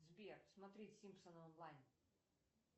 сбер смотреть симпсоны онлайн